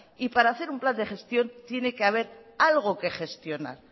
y para hacer un plan de gestión tiene que haber algo que gestionar